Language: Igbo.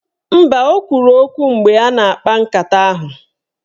Mba, o kwuru okwu mgbe a na-akpa nkata ahụ.